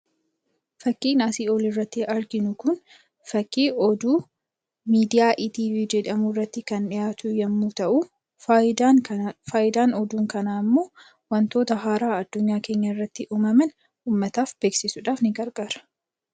Fakkiin asii olii irratti arginu Kun, fakkii oduu miidiyaa 'etv' jedhamu irratti kan dhihaatu yemmuu ta'u, fayidaan oduu kanaa immoo waantota haaraa addunyaa keenya irratti uumaman uummataaf beeksisuudhaaf ni gargaara.